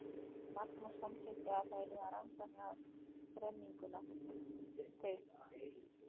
Magnús samþykkti að það yrði að rannsaka þrenninguna, þau